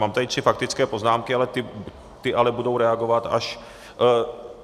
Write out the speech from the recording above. Mám tady tři faktické poznámky, ty ale budou reagovat až...